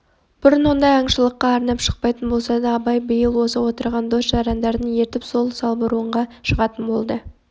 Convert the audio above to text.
бұрын ондай аңшылыққа арнап шықпайтын болса да абай биыл осы отырған дос-жарандарын ертіп сол салбурынға шығатын болды